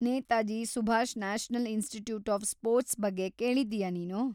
Netaji Subhash national institute of sports ಬಗ್ಗೆ ಕೇಳಿದ್ದೀಯಾ‌ ನೀನು?